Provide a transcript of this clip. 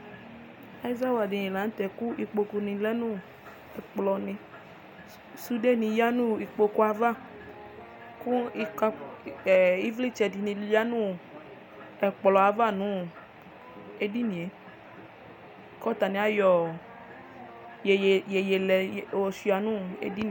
Ɛzawla dini la nu tɛ ɛkplɔni sudeni ya nu ɛkplɔava ku ivlitsɛ dini ya nu ɛkplɔava nu edinie ku atani ayɔ iyeye lɛ yɔshua nedini